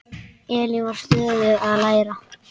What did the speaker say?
Elín var stöðugt að læra.